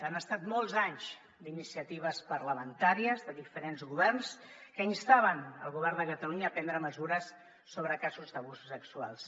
han estat molts anys d’iniciatives parlamentàries de diferents governs que instaven el govern de catalunya a prendre mesures sobre casos d’abusos sexuals